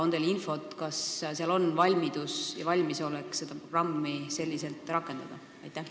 On teil infot, kas seal on valmidus, valmisolek seda programmi selliselt rakendada?